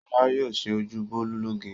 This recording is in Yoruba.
Ṣọlá yóò ṣe ojú Bólú lóge.